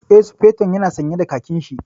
Eh, Sufeton ya na sanye da khakin shi